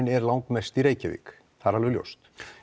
er langmest í Reykjavík það er alveg ljóst